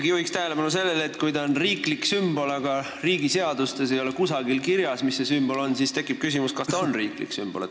Ma juhin tähelepanu sellele, et kui ta on riiklik sümbol, aga kusagil riigi seadustes ei ole kirjas, mis see sümbol on, siis tekib küsimus, kas ta ikkagi on riiklik sümbol.